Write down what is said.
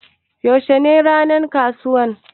Yaushe ne ranan ƙasuwan?